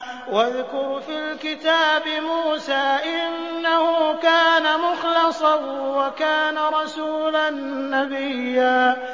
وَاذْكُرْ فِي الْكِتَابِ مُوسَىٰ ۚ إِنَّهُ كَانَ مُخْلَصًا وَكَانَ رَسُولًا نَّبِيًّا